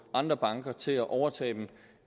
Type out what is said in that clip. andre banker til at overtage det